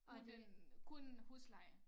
Uden kun husleje